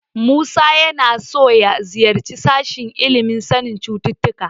Musa yana so ya ziyarci sashen ilimin sanin cututtuka.